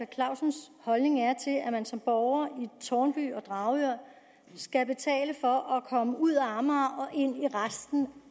clausens holdning er til at man som borger i tårnby og dragør skal betale for at komme ud af amager og ind i resten